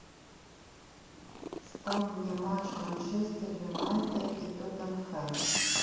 ставь мне матч манчестер юнайтед и тоттенхэм